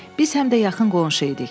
Biz həm də yaxın qonşu idik.